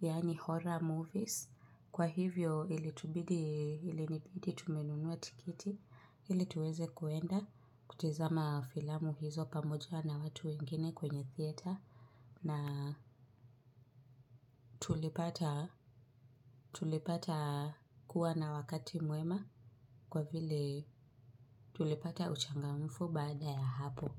Yani horror movies. Kwa hivyo ilitubidi ilinibidi tumenunua tiketi. Hili tuweze kuenda kutizama filamu hizo pamoja na watu wengine kwenye theater na tulipata kuwa na wakati muema kwa vile tulipata uchangamfu baada ya hapo.